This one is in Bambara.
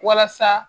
Walasa